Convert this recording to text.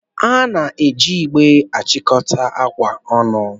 A na-eji igbe achịkọta akwa ọnụ.